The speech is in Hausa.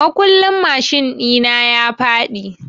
Makullin mashin ɗi na ya faɗi.